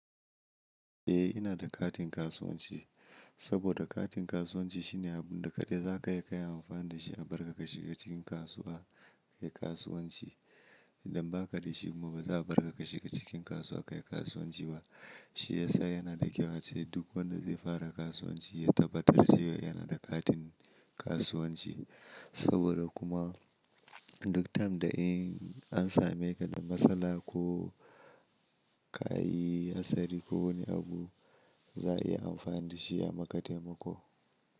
Eh ina da katin kasuwanci saboda katin kasuwanci shine abunda kaɗai za ka iya kayi amfani da shi a bar ka ka shiga cikin kasuwa kayi kasuwanci idan ba ka da shi kuma ba za a bar ka ka shiga cikin kasuwa kayi kasuwanci ba shiyasa yana da kyau ace duk wanda zai fara kasuwanci ya tabbatar zai yana da katin kasuwanci saboda kuma duk time da in an same ka da matsala ko ka yi hatsari ko wani abu za'a iya amfani da shi a maka taimako.